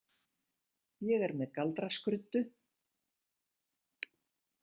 Ég er með galdraskruddu